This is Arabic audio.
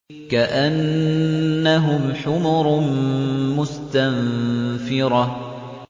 كَأَنَّهُمْ حُمُرٌ مُّسْتَنفِرَةٌ